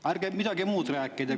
Ärge midagi muud rääkige.